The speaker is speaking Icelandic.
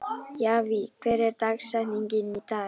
Javí, hver er dagsetningin í dag?